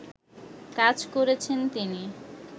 কাজ করেছেন তিনি